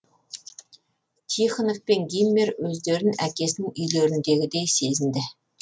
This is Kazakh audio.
тихонов пен гиммер өздерін әкесінің үйлеріндегідей сезінеді